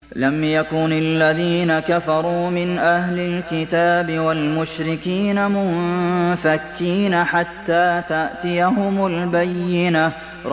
لَمْ يَكُنِ الَّذِينَ كَفَرُوا مِنْ أَهْلِ الْكِتَابِ وَالْمُشْرِكِينَ مُنفَكِّينَ حَتَّىٰ تَأْتِيَهُمُ الْبَيِّنَةُ